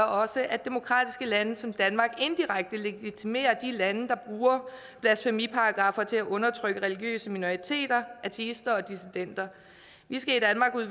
også at demokratiske lande som danmark indirekte legitimerer de lande der bruger blasfemiparagraffer til at undertrykke religiøse minoriteter ateister og dissidenter vi skal